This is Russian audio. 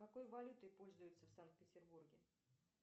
какой валютой пользуются в санкт петербурге